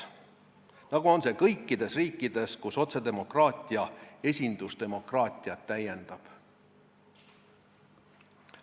Nii nagu see on kõikides riikides, kus otsedemokraatia esindusdemokraatiat täiendab.